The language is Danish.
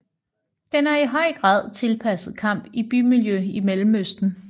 Den er i høj grad tilpasset kamp i bymiljø i Mellemøsten